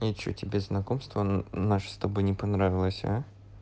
а что тебе знакомство наше с тобой не понравилось а